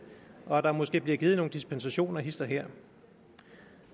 og at der måske bliver givet nogle dispensationer hist og her